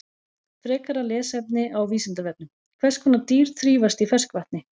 Frekara lesefni á Vísindavefnum: Hvers konar dýr þrífast í ferskvatni?